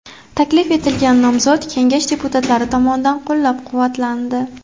Taklif etilgan nomzod Kengash deputatlari tomonidan qo‘llab-quvvatlandi.